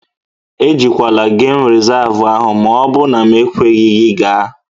E jekwala geem resavu ahụ maọbụ na m ekweghị gị gaa!